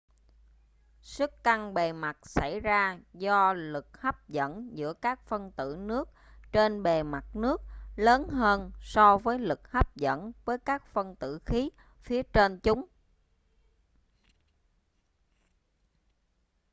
sức căng bề mặt xảy ra do lực hấp dẫn giữa các phân tử nước trên bề mặt nước lớn hơn so với lực hấp dẫn với các phân tử khí phía trên chúng